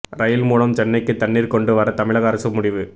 ரயில்கள் மூலம் சென்னைக்கு தண்ணீர் கொண்டு வர தமிழக அரசு முடிவு